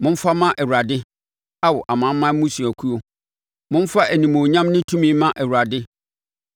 Momfa mma Awurade, Ao amanaman mmusuakuo, momfa animuonyam ne tumi mma Awurade.